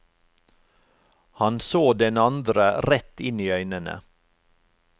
Han så den andre rett inn i øynene.